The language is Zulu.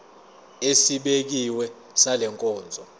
esibekiwe sale nkonzo